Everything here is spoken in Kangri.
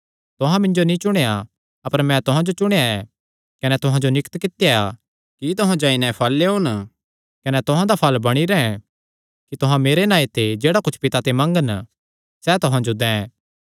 तुहां मिन्जो नीं चुणेया अपर मैं तुहां जो चुणेया ऐ कने तुहां जो नियुक्त कित्या कि तुहां जाई नैं फल़ लेयोन कने तुहां दा फल़ बणी रैंह् कि तुहां मेरे नांऐ ते जेह्ड़ा कुच्छ पिता ते मंगन सैह़ तुहां जो दैं